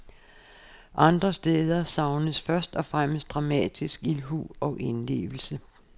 Andre steder savnes først og fremmest dramatisk ildhu og indlevelse.